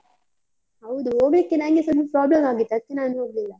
ಹೌದು, ಹೋಗ್ಲಿಕ್ಕೆ ನಂಗೆಸ ಒಂದು problem ಆಗಿತ್ತು ಅದ್ಕೆ ನಾನು ಹೋಗ್ಲಿಲ್ಲ.